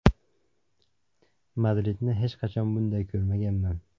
Madridni hech qachon bunday ko‘rmaganman.